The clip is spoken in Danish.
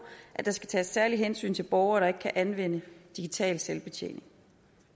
at der skal tages særlige hensyn til borgere der ikke kan anvende digital selvbetjening